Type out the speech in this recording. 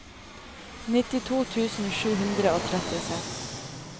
nittito tusen sju hundre og trettiseks